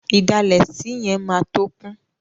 Ìdalẹ̀ sí yẹn máa tó kún.